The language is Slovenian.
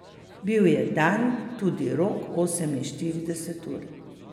Bil je dan tudi rok oseminštirideset ur.